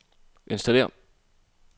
installér